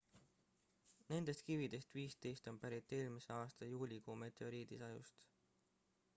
nendest kividest 15 on pärit eelmise aasta juulikuu meteoriidisajust